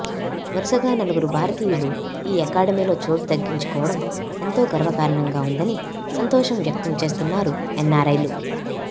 వరుసగా నలుగురు భారతీయులు ఈ అకాడమీలో చోటు దక్కించుకోవడం ఎంతో గర్వకారణంగా ఉందని సంతోషం వ్యక్తం చేస్తున్నారు ఎన్నారైలు